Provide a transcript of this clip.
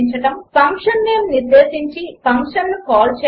function name నిర్దేశించి ఫంక్షన్ను call చేయడం 3